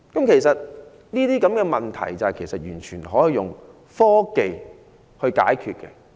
其實這些問題都可以靠科技解決。